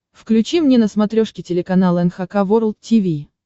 включи мне на смотрешке телеканал эн эйч кей волд ти ви